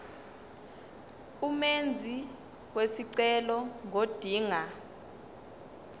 umenzi wesicelo ngodinga